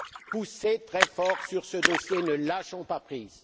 Poussez très fort sur ce dossier, ne lâchons pas prise!